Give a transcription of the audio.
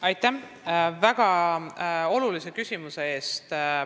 Aitäh väga olulise küsimuse eest!